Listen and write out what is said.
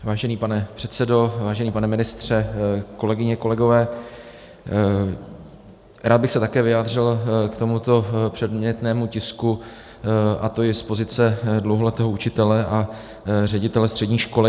Vážený pane předsedo, vážený pane ministře, kolegyně, kolegové, rád bych se také vyjádřil k tomuto předmětnému tisku, a to i z pozice dlouholetého učitele a ředitele střední školy.